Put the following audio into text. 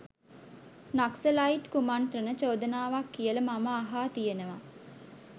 නක්සලයිට් කුමණ්ත්‍රණ චෝදනාවක් කියල මම අහා තියෙනව.